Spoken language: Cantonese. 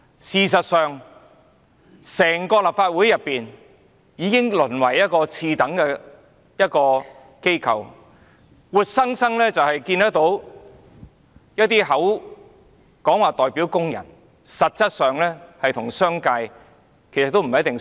事實上，整個立法會已淪為一個次等機構，我們活生生看到一些議員口口聲聲說代表工人，但實質上是跟隨商界的做法。